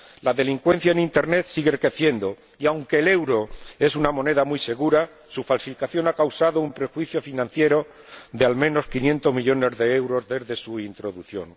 La delincuencia en Internet sigue creciendo y, aunque el euro es una moneda muy segura, su falsificación ha causado un perjuicio financiero de al menos 500 millones de euros desde su introducción.